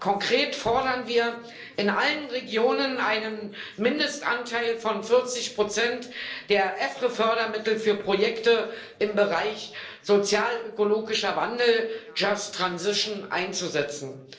Konkret fordern wir, in allen Regionen einen Mindestanteil von 40 der EFRE Fördermittel für Projekte im Bereich sozialökologischer Wandel just transition einzusetzen.